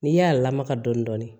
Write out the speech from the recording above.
N'i y'a lamaga dɔɔnin dɔɔnin